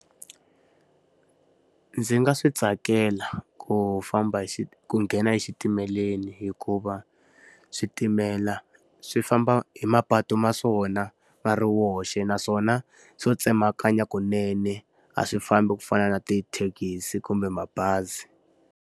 Ndzi nga swi tsakela ku famba hi ku nghena exitimeleni hikuva, switimela swi famba hi mapatu ma swona ma ri woxe. Naswona swo tsemakanya kunene a swi fambi ku fana na ti thekisi kumbe mabazi.